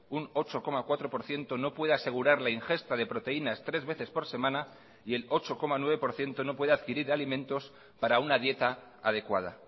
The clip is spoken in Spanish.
un ocho coma cuatro por ciento no puede asegurar la ingesta de proteínas tres veces por semana y el ocho coma nueve por ciento no puede adquirir alimentos para una dieta adecuada